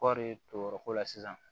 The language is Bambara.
Kɔri turuyɔrɔ ko la sisan